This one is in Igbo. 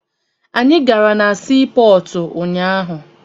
Anyị gara na sii pọọtụ unyaahụ.